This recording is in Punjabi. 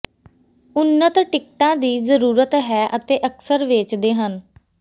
ਉੱਨਤ ਟਿਕਟਾਂ ਦੀ ਜ਼ਰੂਰਤ ਹੈ ਅਤੇ ਅਕਸਰ ਵੇਚਦੇ ਹਨ